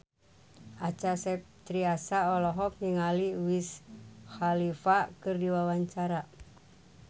Acha Septriasa olohok ningali Wiz Khalifa keur diwawancara